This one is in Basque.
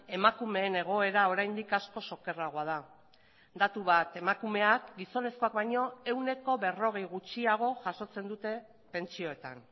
emakumeen egoera oraindik askoz okerragoa da datu bat emakumeak gizonezkoak baino ehuneko berrogei gutxiago jasotzen dute pentsioetan